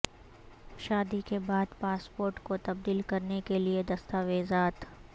شادی کے بعد پاسپورٹ کو تبدیل کرنے کے لئے دستاویزات